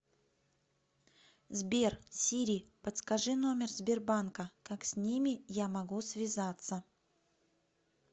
сбер сири подскажи номер сбербанка как с ними я могу связаться